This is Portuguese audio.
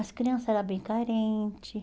As crianças eram bem carentes.